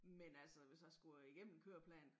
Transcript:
Men altså hvis jeg skulle igennem en køreplan